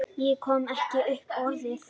Ég kom ekki upp orði.